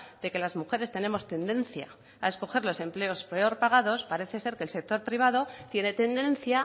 de que las mujeres tenemos tendencia a escoger los empleos peor pagados parece ser que el sector privado tiene tendencia